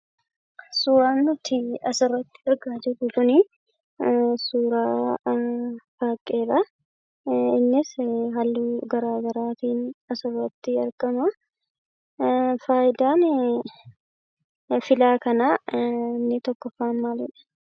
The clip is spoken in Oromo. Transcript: Suuraan nuti asirratti argaa jirru kunii suuraa faaqqeedha. Innisii halluu garaa garaatiin asirratti argama. Faayidaanii filaa kanaa inni tokkoffaan maaliidha?